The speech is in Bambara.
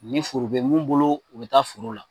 Ni foro bɛ mun bolo u bɛ taa foro la.